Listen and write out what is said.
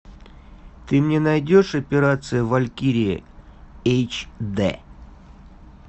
ты мне найдешь операция валькирия эйч дэ